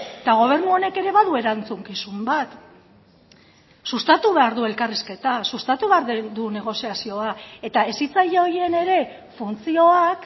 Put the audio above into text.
eta gobernu honek ere badu erantzukizun bat sustatu behar du elkarrizketa sustatu behar du negoziazioa eta hezitzaile horien ere funtzioak